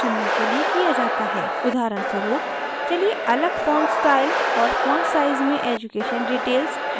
उदाहरणस्वरूप चलिए अलग font स्टाइल और font size में education details heading details हैं